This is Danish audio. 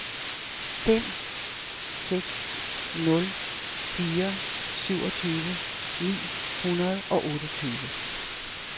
fem seks nul fire syvogtyve ni hundrede og otteogtyve